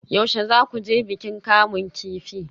Yaushe za ku je bikin kamun kifi?